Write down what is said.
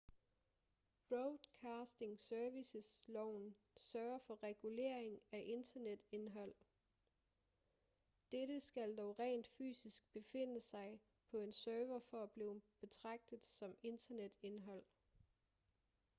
broadcasting services-loven sørger for reguleringen af internetindhold dette skal dog rent fysisk befinde sig på en server for at blive betragtet som internetindhold